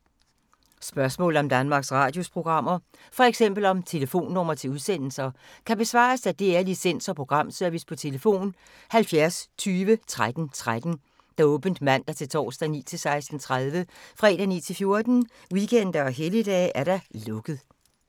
Spørgsmål om Danmarks Radios programmer, f.eks. om telefonnumre til udsendelser, kan besvares af DR Licens- og Programservice: tlf. 70 20 13 13, åbent mandag-torsdag 9.00-16.30, fredag 9.00-14.00, weekender og helligdage: lukket.